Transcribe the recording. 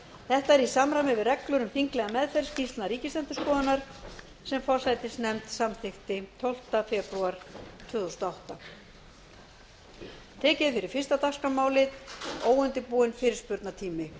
þetta er í samræmi við reglur um þinglega meðferð skýrslna ríkisendurskoðunar sem forsætisnefnd samþykkti tólfta febrúar tvö þúsund og átta